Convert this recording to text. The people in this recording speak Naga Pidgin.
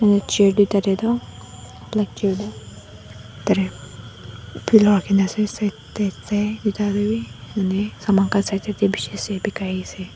chair duita te toh black chair te pillow rakhina ase side te duita te bi saman khan side side te bishi ase bikai ase.